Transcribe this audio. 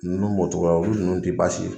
Nunnu b'o cogoya la, o ni nunnu te basi ye.